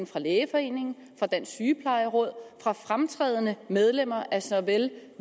fra lægeforeningen dansk sygeplejeråd og fra fremtrædende medlemmer af såvel